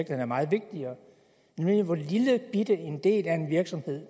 er meget vigtigere nemlig hvor lillebitte en del af en virksomhed